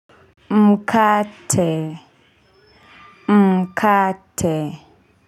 Mkate Mkate.